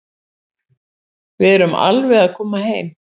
Við erum alveg að koma heim.